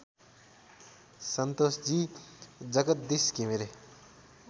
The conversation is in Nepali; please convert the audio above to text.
सन्तोषजी जगदीश घिमिरे